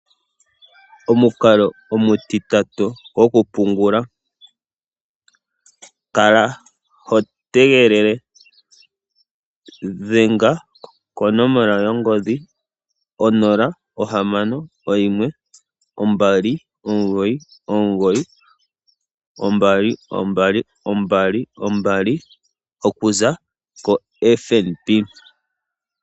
Omukalo omutitatu gwoku pungula. Kala ho tegelele. Dhenga konomola yongodhi 0612992222 okuza koFNB.